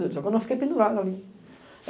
Só que eu não fiquei pendurada ali.